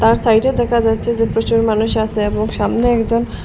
আর সাইডে দেখা যাচ্ছে যে প্রচুর মানুষ আসে এবং সামনে একজন--।